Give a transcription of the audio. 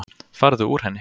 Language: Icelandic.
Farðu úr henni.